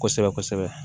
Kosɛbɛ kosɛbɛ